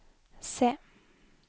se